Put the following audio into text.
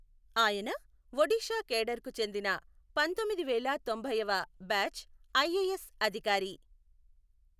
ఆయన ఒడిషా కేడర్ కు చెందిన పంతొమ్మిదివేళా తొంభైవ బ్యాచ్ ఐఎఎస్ అధికారి.